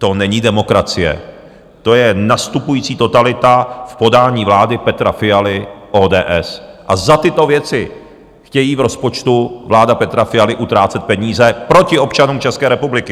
To není demokracie, to je nastupující totalita v podání vlády Petra Fialy, ODS a za tyto věci chtějí v rozpočtu - vláda Petra Fialy - utrácet peníze proti občanům České republiky!